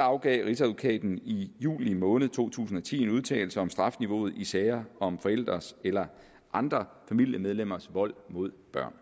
afgav rigsadvokaten i juli måned to tusind og ti en udtalelse om strafniveauet i sager om forældres eller andre familiemedlemmers vold mod børn